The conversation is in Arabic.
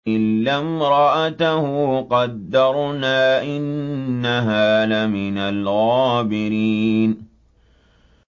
إِلَّا امْرَأَتَهُ قَدَّرْنَا ۙ إِنَّهَا لَمِنَ الْغَابِرِينَ